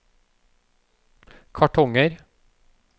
kartonger